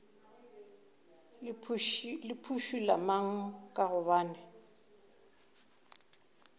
le phušula mang ka gobane